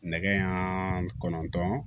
Nɛgɛɲan kɔnɔntɔn